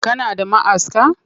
Kana da ma'aska?